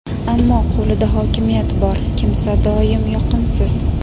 ammo qo‘lida hokimiyat bor kimsa doimo yoqimsiz.